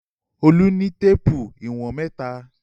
Olú ní téépù ìwọ̀n mẹ́ta.